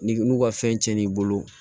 Ni n'u ka fɛn cɛnni i bolo